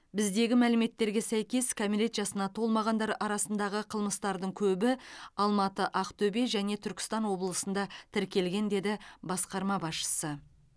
біздегі мәліметтерге сәйкес кәмелет жасына толмағандар арасындағы қылмыстардың көбі алматы ақтөбе және түркістан облысында тіркелген деді басқарма басшысы